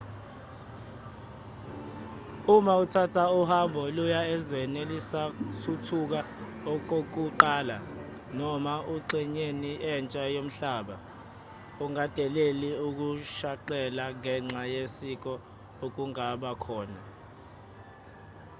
uma uthatha uhambo oluya ezweni elisathuthuka okokuqala noma engxenyeni entsha yomhlaba ungadeleli ukushaqeka ngenxa yesiko okungaba khona